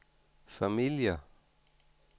familier